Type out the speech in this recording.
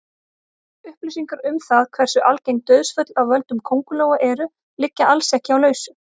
Upplýsingar um það hversu algeng dauðsföll af völdum köngulóa eru liggja alls ekki á lausu.